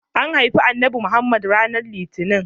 An haifi Annabi Muhammad ranar litinin.